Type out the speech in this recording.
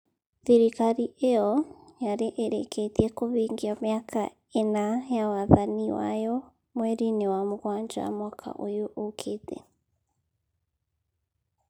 Thirikari ĩyo yarĩ ĩrĩkĩtie kũhingia mĩaka ĩna ya wathani wayo mweri-inĩ wa mũgwanja mwaka ũyũ ũkĩte.